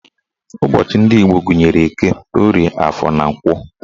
Ụbọchị ndị Igbo gụnyere Eke, Orie, Afọ, na Nkwọ